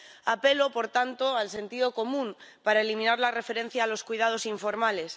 Apelo, por tanto, al sentido común para eliminar la referencia a los cuidados informales.